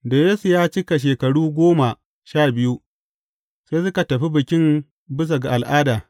Da Yesu ya cika shekaru goma sha biyu, sai suka tafi Bikin bisa ga al’ada.